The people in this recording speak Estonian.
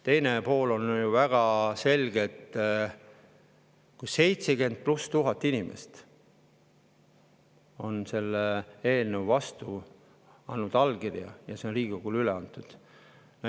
Teine pool on ka väga selge: 70 000 pluss inimest on selle eelnõu vastu andnud allkirja ja need on Riigikogule üle antud.